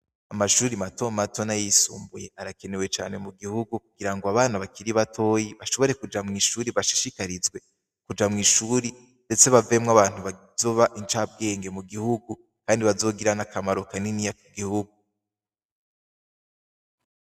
Amashure mato mato n'ayisumbuye arakenewe cane mu gihugu, kugira ngo abana bakiri batoyi, bashobore kuja mw'ishure, bashishikarizwe kuja mw'ishure, ndetse bavemwo abantu bazoba incabwenge mu gihugu, kandi bazogira n'akamaro kaniniya ku gihugu.